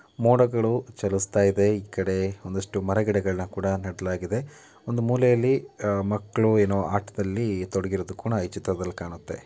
ಮೋಡಗಳು ಚಲಿಸ್ತಾ ಇದೆ ಈ ಕಡೆ ಒಂದಷ್ಟು ಮರ-ಗಿಡಗಳನ್ನ ಕೂಡ ನೆಡಲಾಗಿದೆ ಒಂದು ಮೂಲೆಯಲ್ಲಿ ಮಕ್ಕಳು ಏನೋ ಆಟದಲ್ಲಿ ತೊಡಗಿರೋದು ಸಹ ಈ ಚಿತ್ರದಲ್ಲಿ ಕಾಣತ್ತೆ--